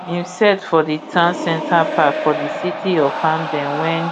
im set for di town center park for di city of hamden wen